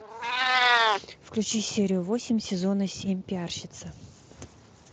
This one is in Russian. включи серию восемь сезона семь пиарщица